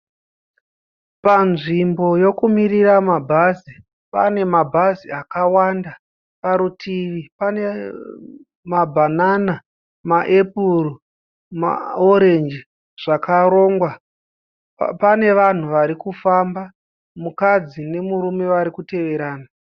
Panzvimbo yokumirira mabhazi. Pane mabhazi akawanda. Parutivi pane mabhanana, ma epuru, maorenji zvakarongwa. Pane vanhu varikufamba. Mukadzi nemurume vari kuteerana.